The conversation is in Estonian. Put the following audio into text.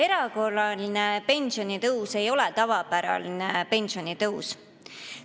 Erakorraline pensionitõus ei ole tavapärane pensionitõus.